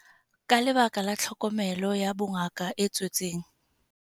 Ka lebaka la tlhokomelo ya bongaka e tswetseng.